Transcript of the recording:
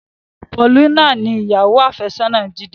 Paulina ni ìyàwó afesona Jide.